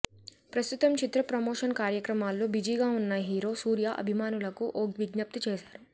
ప్రస్తుతం చిత్ర ప్రమోషన్ కార్యక్రమాల్లో బిజీగా ఉన్న హీరో సూర్య అభిమానులకు ఓ విజ్ఞప్తి చేశారు